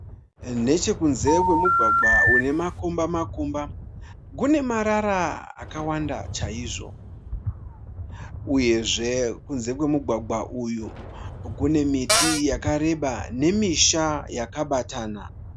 Neche kunze kwemugwagwa une makomba makomba kune marara akawanda chaizvo, uyezve kunze kwemugwagwa uyu kune miti yakareba nemisha yakabatana.